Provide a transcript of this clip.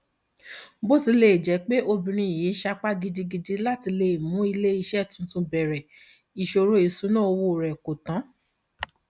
bó tilẹ jẹ pé obìnrin yìí sapá gidigidi láti mú ilé iṣẹ tún bẹrẹ ìṣòro ìṣúnná owó rẹ kò tán